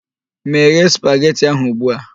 Meghe spageti ahụ ugbu a!